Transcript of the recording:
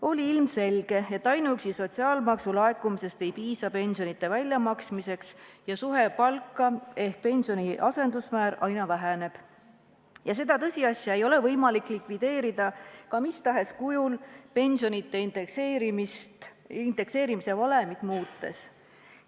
Oli ilmselge, et ainuüksi sotsiaalmaksu laekumisest ei piisa pensionide väljamaksmiseks ja suhe palka ehk pensioni asendusmäär aina väheneb ning seda tõsiasja ei ole võimalik likvideerida ka mis tahes kujul pensionide indekseerimise valemit muutes.